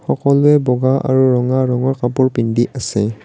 সকলোৱে বগা আৰু ৰঙা ৰঙৰ কাপোৰ পিন্ধি আছে।